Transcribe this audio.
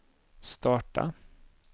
starta